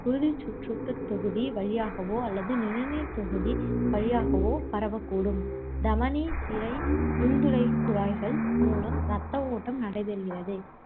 குருதிச் சுற்றோட்டத்தொகுதி வழியாகவோ அல்லது நிணநீர்த் தொகுதி வழியாகவோ பரவக்கூடும். தமனி, சிரை, நுந்துளைக்குழாய்கள் மூலம் இரத்த ஓட்டம் நடைபெறுகிறது.